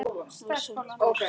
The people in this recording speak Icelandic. Og samt var svarað.